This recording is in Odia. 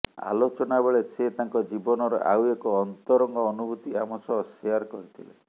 ଆଲୋଚନା ବେଳେ ସେ ତାଙ୍କ ଜୀବନର ଆଉ ଏକ ଅନ୍ତରଙ୍ଗ ଅନୁଭୂତି ଆମ ସହ ଶେଆର୍ କରିଥିଲେ